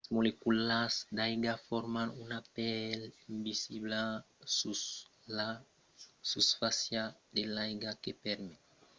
las moleculas d’aiga forman una pèl invisibla sus la susfàcia de l’aiga que permet a de causas coma una agulha de flotar sus l’aiga